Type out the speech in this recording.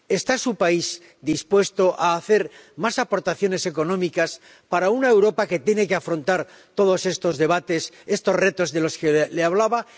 ¿Está su país dispuesto a hacer más aportaciones económicas para una Europa que tiene que afrontar todos estos retos de los que le hablaba?